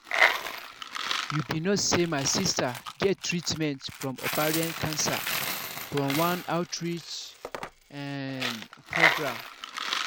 you be no say my sister get treatment from ovarian cancer from one outreach um program